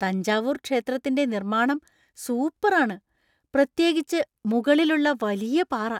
തഞ്ചാവൂർ ക്ഷേത്രത്തിന്‍റെ നിർമ്മാണം സൂപ്പര്‍ ആണ്, പ്രത്യേകിച്ച് മുകളിലുള്ള വലിയ പാറ.